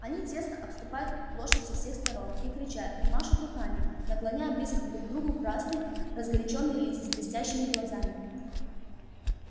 они тесно обступают лошадь со всех сторон и кричат и машут руками наклоняя близко друг к другу красные разгорячённые лица с блестящими глазами